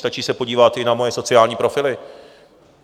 Stačí se podívat i na moje sociální profily.